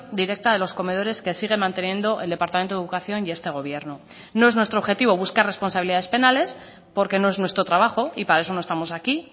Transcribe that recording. directa de los comedores que sigue manteniendo el departamento de educación y este gobierno no es nuestro objetivo buscar responsabilidades penales porque no es nuestro trabajo y para eso no estamos aquí